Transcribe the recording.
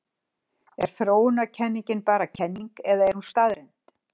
Er þróunarkenningin bara kenning eða er hún staðreynd?